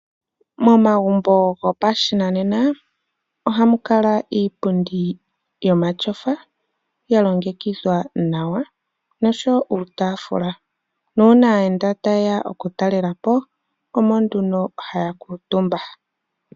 Momagumbo gopashinanena oha mu kala iipundi yomatyofa ya longekidhwa nawa noshowo uutafula, uuna aayenda taye ya okutalelapo omo haya kuutumba.